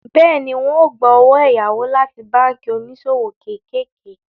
Bẹ́ẹ̀ni, ń ó gbà owó ẹ̀yáwó láti báànkì oníṣòwò kéékèèké